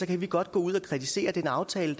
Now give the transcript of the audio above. kan vi godt gå ud og kritisere den aftale